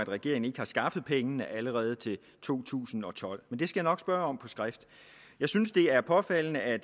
regeringen ikke har skaffet pengene allerede til to tusind og tolv men det skal jeg nok spørge om på skrift jeg synes det er påfaldende at